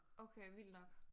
Okay vildt nok